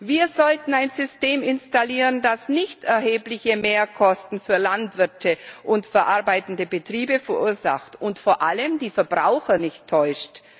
Wir sollten ein System installieren, das nicht erhebliche Mehrkosten für Landwirte und verarbeitende Betriebe verursacht und vor allem die Verbraucher nicht täuscht.